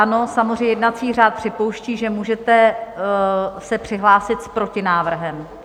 Ano, samozřejmě jednací řád připouští, že můžete se přihlásit s protinávrhem.